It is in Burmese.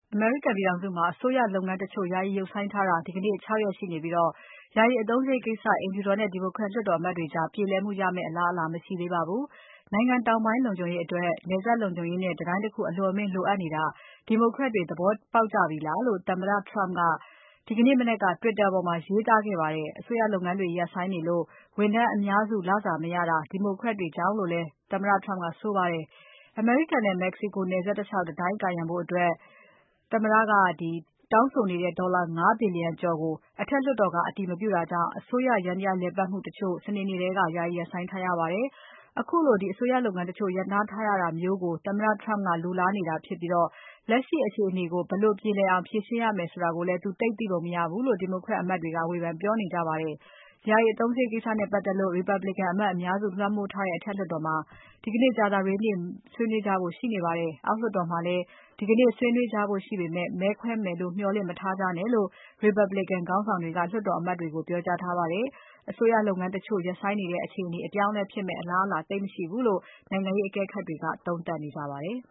အမေရိကန်ပြည်ထောင်စုမှာ အစိုးရလုပ်ငန်း တချို့ ယာယီရပ်ဆိုင်းထားတာ ဒီကနေ့ ၆ ရက်ရှိနေပြီး၊ ယာယီအသုံးစရိတ်ကိစ္စ အိမ်ဖြူတော်နဲ့ Democrat လွှတ်တော်အမတ်တွေကြား ပြေလည်မှုရမယ့် အလားအလာ မရှိသေးပါဘူး။ နိုင်ငံတောင်းပိုင် လုံခြုံရေးအတွက် နယ်စပ်လုံခြုံရေးနဲ့ တံတိုင်းတခု အလွန်အမင်းလိုအပ်နေတာ Democrat တွေသဘောပေါက်ကြပြီလားလို့ သမ္မတက ဒီကနေ့မနက်က Twitter ပေါ်မှာ ရေးသားခဲ့ပါတယ်။ အစိုးရလုပ်ငန်းတွေရပ်ဆိုင်းနေလို့ ဝန်ထမ်းအများစုလစာမရတာ Democrat တွေကြောင့်လိုလည်း သမ္မတ Trump ကဆိုပါတယ်။ အမေရိကန်နဲ့ မက္ကဆီကိုနယ်စပ်တလျှောက် တံတိုင်း ကာရံဖို့အတွက် သမ္မတ Trump တောင်းဆိုထားတဲ့ ဒေါ်လာ ၅ ဘီလျံကျော်ကို အထက်လွှတ်တော်က အတည်မပြုတာကြောင့် အစိုးရယန္တရား လည်ပတ်မှုတချို့ စနေနေ့ထဲက ယာယီ ရပ်ဆိုင်းထားရပါတယ်။ ခုလို အစိုးရ ယန္တရားတချို့ ရပ်နားထားရတာမျိုးကို သမ္မတ Trump က လိုလားနေတာဖြစ်ပြီး လက်ရှိအခြေအနေကို ဘယ်လို ပြေလည်အောင် ဖြေရှင်းရမယ်ဆိုတာကိုလည်း သူ သိပုံမရဘူးလို့ Democrat အမတ်တွေက ဝေဖန် ပြောနေကြပါတယ်။ ယာယီအသုံးစရိတ် ကိစ္စနဲ့ ပါတ်သက်လို့ Republican အမတ်အများစု လွှမ်းမိုးထားတဲ့ အထက်လွှတ်တော်မှာ ဒီကနေ့ ကြာသပတေးနေ့မှာ ဆွေးနွေးဖို့ရှိနေပါတယ်။ အောက်လွှတ်တော်မှာလည်း ဒီကနေ့ ဆွေးနွေးကြဖို့ရှိပေမဲ့ မဲခွဲမယ်လို့ မျှော်လင့်မထားကြနဲ့လို့ Republican ခေါင်းဆောင်တွေက လွှတ်တော်အမတ်တွေကို ပြောကြားထားပါတယ်။ အစိုးရလုပ်ငန်းတချို့ ရပ်ဆိုင်းနေတဲ့ အခြေအနေ အပြောင်းအလဲဖြစ်မယ့် အလားအလာသိပ်မရှိဘူးလို့ နိုင်ငံရေးအကဲခတ်တွေ သုံးသပ်နေကြပါတယ်။